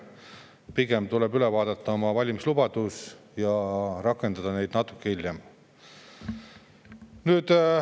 Pigem tuleb üle vaadata oma valimislubadus ja rakendada neid natuke hiljem.